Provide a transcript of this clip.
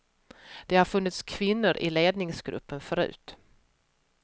Det har funnits kvinnor i ledningsgruppen förut.